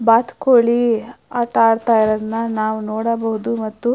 ಬಾತ್ಕೋಳಿ ಆಟ ಆಡೋದನ್ನ ನೋಡಬಹುದು ಮತ್ತು --